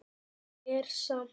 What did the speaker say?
Nóg er samt.